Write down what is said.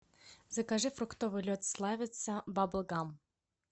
закажи фруктовый лед славица бабл гам